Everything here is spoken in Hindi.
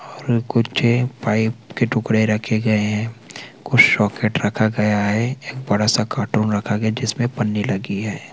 और कुछ पाइप के टुकड़े रखे गए है कुछ सॉकेट रखा गया है एक बड़ा सा कार्टून रखा गया है जिसमे पन्नी लगी हैं।